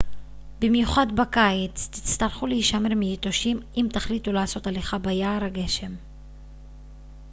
במיוחד בקיץ תצטרכו להישמר מיתושים אם תחליטו לעשות הליכה ביער הגשם